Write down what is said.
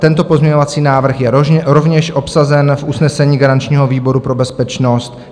Tento pozměňovací návrh je rovněž obsažen v usnesení garančního výboru pro bezpečnost.